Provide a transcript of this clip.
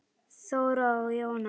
Þóra og Jóna.